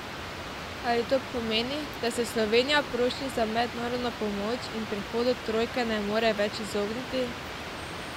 Ali to pomeni, da se Slovenija prošnji za mednarodno pomoč in prihodu trojke ne more več izogniti?